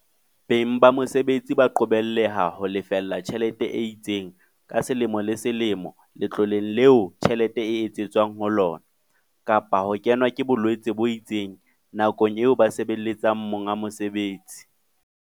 Beng ba mesebetsi ba qobelleha ho lefella tjhelete e itseng ka selemo le selemo letloleng leo tjhelete ena e tsetetsweng ho lona, kapa ho kenwa ke bolwetse bo itseng nakong eo ba sebeletsang mong mosebetsi.